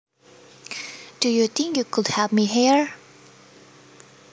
Do you think you could help me here